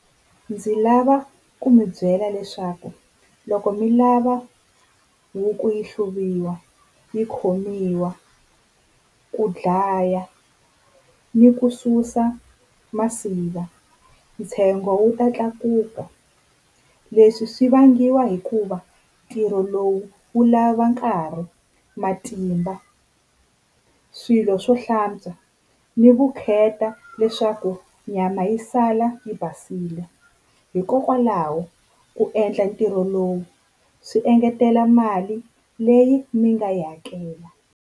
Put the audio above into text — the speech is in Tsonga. Ndzi lava ku mi byela leswaku loko mi lava huku yi hluviwa, yi khomiwa, ku dlaya ni ku susa masiva ntsengo wu ta tlakuka. Leswi swi vangiwa hikuva ntirho lowu wu lava nkarhi, matimba, swilo swo hlantswa ni vukheta leswaku nyama yi sala yi basile. Hikokwalaho ku endla ntirho lowu swi engetela mali leyi mi nga yi hakela.